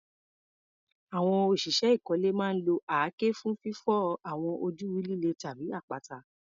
Àwọn òṣìṣẹ́ ìkọ́lé máa ń lo àáké fún fífọ́ àwọn ojú líle tàbí àpáta.